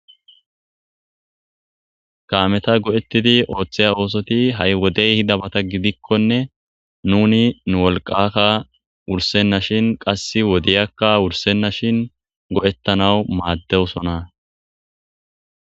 Kaameta go'ettidi ooththeya oosoti ha'i wodey hida bata gidikkonne nuni nu wolqakka wursenna shin qass wodeyakka wursenna shin go'ettanawu maaddewsona.